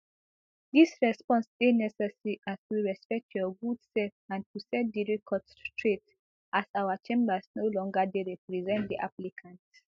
dis response dey necessary as we respect your good sef and to set di record straight as our chambers no longer dey represent di applicant